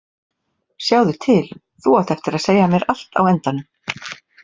Sjáðu til, þú átt eftir að segja mér allt á endanum.